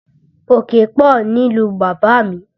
Òkè pọ̀ nílùú bàbá mi